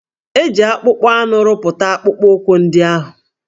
E ji akpụkpọ anụ rụpụta akpụkpọụkwụ ndị ahụ?